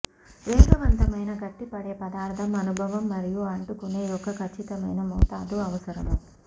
వేగవంతమైన గట్టిపడే పదార్థం అనుభవం మరియు అంటుకునే యొక్క ఖచ్చితమైన మోతాదు అవసరం